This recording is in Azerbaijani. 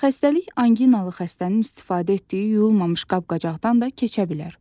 Xəstəlik anqinalı xəstənin istifadə etdiyi yuyulmamış qab-qacaqdan da keçə bilər.